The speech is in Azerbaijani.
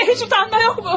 Sizdə heç utanma yoxmu?